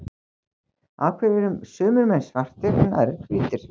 af hverju eru sumir menn svartir en aðrir hvítir